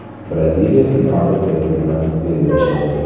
Braziliya finalda Peru bilan bellashadi.